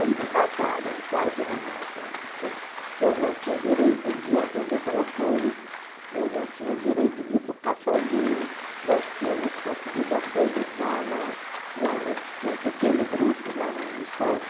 Aí me mataram, quase me matam, porque eu não tinha direito de atender telefone, eu não tinha direito de ir para o cafezinho, nós tínhamos conseguido organizar na, lá a gente tinha um pequeno grupo lá no Ministério,